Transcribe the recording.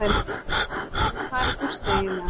En hvar er Gústi eiginlega?